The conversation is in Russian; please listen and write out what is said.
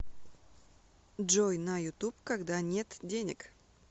джой на ютуб когда нет денег